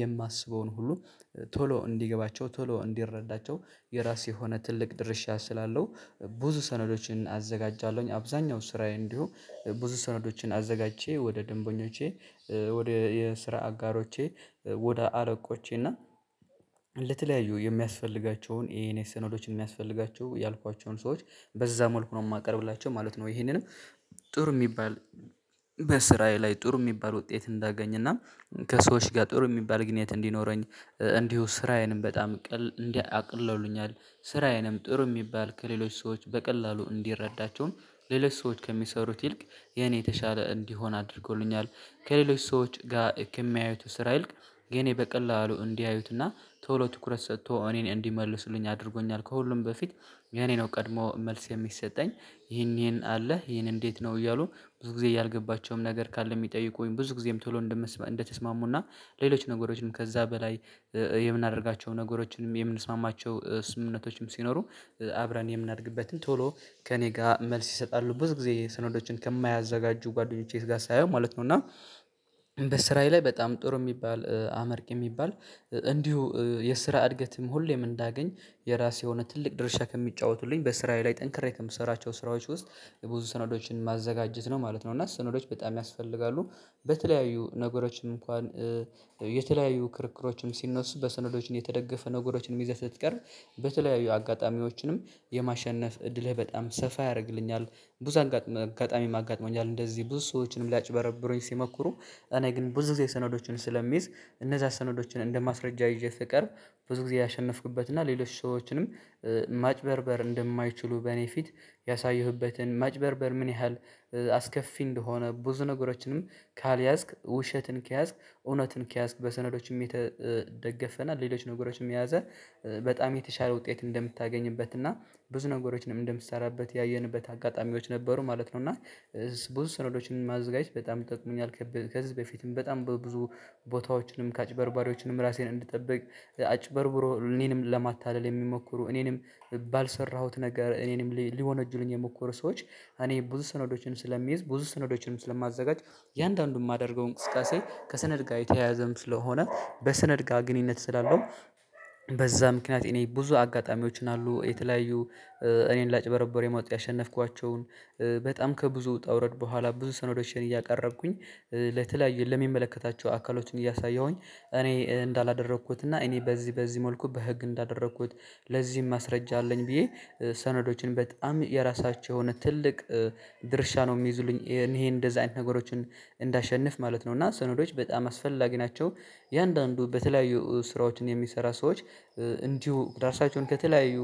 የማስበውን ሁሉ ቶሎ እንዲገባቸው ቶሎ እንዲረዳቸው የራሴ የሆነ ትልቅ ድርሻ ስላለው ብዙ ሰነዶችን አዘጋጃለሁ፣ አብዛኛው ስራዬ እንዲሁ ብዙ ሰነዶችን አዘጋጅቼ ወደ ደንበኞቼ ወደ የስራ አጋሮቼ ወደ አረቆቼና፣ ለተለያዩ የሚያስፈልጋቸውን ይሄን የሰነዶች የሚያስፈልጋቸው ያልኳቸውን ሰዎች በዛ መልኩ ነው የማቀርብላቸው ማለት ነው። ይሄንንም ጥሩ የሚባል በስራዬ ላይ ጥሩ የሚባል ውጤት እንዳገኝና፣ ከሰዎች ጋር ጥሩ የሚባል ግንኙነት እንዲኖረኝ፣ እንዲሁ ስራዬንም በጣም ቀል እንዲህ አቅልለውልኛል። ስራዬንም ጥሩ የሚባል ከሌሎች ሰዎች በቀላሉ እንዲረዳቸውን ሌሎች ሰዎች ከሚሰሩት ይልቅ የኔ የተሻለ እንዲሆን አድርጎልኛል። ከሌሎች ሰዎች ጋር ከሚያዩት ስራ ይልቅ፣ የእኔ በቀላሉ እንዲያዩትና ቶሎ ትኩረት ሰጥቶ እኔን እንዲመልስልኝ አድርጎኛል ከሁሉም በፊት የእኔ ነው ቀድሞ መልስ የሚሰጠኝ ይሄን ይሄን አለ ይሄን እንዴት ነው እያሉ ብዙ ጊዜ እያልገባቸውም ነገር ካለ የሚጠይቁኝ ብዙ ጊዜም ቶሎ እንደምስማሙና ሌሎች ነገሮችንም ከዛ በላይ የምናደርጋቸውን ነገሮችንም የምንስማማቸው ስምምነቶችም ሲኖሩ አብረን የምናደርግበትን ቶሎ ከእኔ ጋር መልስ ይሰጣሉ ብዙ ጊዜ ሰነዶችን ከማያዘጋጁ ጓደኞቼ ጋር ሳየው ማለት ነው እና በስራዬ ላይ በጣም ጥሩ የሚባል አመርቅ የሚባል እንዲሁ የስራ እድገትም ሁሌም እንዳገኝ የራሴ የሆነ ትልቅ ድርሻ ከሚጫወቱል፣ በስራዬ ላይ ጠንክሬ ከምሰራቸው ስራዎች ውስጥ የብዙ ሰነዶችን ማዘጋጀት ነው ማለት ነው። እና ሰነዶች በጣም ያስፈልጋሉ በተለያዩ ነገሮችን እንኳን የተለያዩ ክርክሮችን ሲነሱ በሰነዶችን የተደገፈ ነገሮችን ይዘህ ስትቀርብ በተለያዩ አጋጣሚዎችንም የማሸነፍ እድልህ በጣም ሰፋ ያደርግልኛል ብዙ አጋጣሚ አጋጥሞኛል። እንደዚህ ብዙ ሰዎችንም ሊያጭበረብሩኝ ሲሞክሩ እኔ ግን ብዙ ጊዜ ሰነዶችን ስለሚይ፣ እነዛ ሰነዶችን እንደማስረጃ ይዤ ስቀርብ ብዙ ጊዜ ያሸነፍኩበት እና ሌሎች ሰዎችንም ማጭበርበር እንደማይችሉ በእኔ ፊት ያሳየሁበትን ማጭበርበር ምን ያህል አስከፊ እንደሆነ ብዙ ነገሮችንም ካልያዝክ ውሸትን ከያዝክ እውነትን ከያዝክ በሰነዶችም የተደገፈና ሌሎች ነገሮችም የያዘ በጣም የተሻለ ውጤት እንደምታገኝበት እና ብዙ ነገሮችንም እንደምትሰራበት ያየንበት አጋጣሚዎች ነበሩ ማለት ነው እና ብዙ ሰነዶችን ማዘጋጀት በጣም ይጠቅመኛል ከዚህ በፊትም በጣም በብዙ ቦታዎችንም ከአጭበርባሪዎችንም ራሴን እንድጠብቅ አጭበርብሮ እኔንም ለማታለል የሚሞክሩ እኔንም ባልሰራሁት ነገር እኔንም ሊወነጁልኝ የሞከሩ ሰዎች፣ እኔ ብዙ ሰነዶችን ስለሚይዝ ብዙ ሰነዶችንም ስለማዘጋጅ፣ እያንዳንዱን የማደርገው እንቅስቃሴ ከሰነጋይ ጋር የተያያዘም ስለሆነ በሰነድ ጋር ግንኙነት ስላለው በዛ ምክንያት እኔ ብዙ አጋጣሚዎችን አሉ የተለያዩ እኔን ላጭበረብር የማወጣ ያሸነፍኳቸውን በጣም ከብዙ ውጣ ውረድ በኋላ ብዙ ሰነዶችን እያቀረብኩኝ፤ ለተለያየ ለሚመለከታቸው አካሎችን እያሳየሁኝ፤ እኔ እንዳላደረኩት እና እኔ በዚህ በዚህ መልኩ በህግ እንዳደረኩት ለዚህም ማስረጃ አለኝ ብዬ፣ ሰነዶችን በጣም የራሳቸው የሆነ ትልቅ ድርሻ ነው የሚይዙልኝ። እኔ እንደዚህ አይነት ነገሮችን እንዳሸንፍ ማለት ነው እና ሰነዶች በጣም አስፈላጊ ናቸው የእያንዳንዱ በተለያዩ ስራዎችን የሚሰራ ሰዎች እንዲሁ ራሳቸውን ከተለያዩ